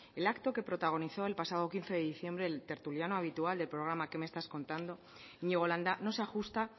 el acto que protagonizó el pasado quince de diciembre el tertuliano habitual del programa qué me estás contando iñigo landa no se ajusta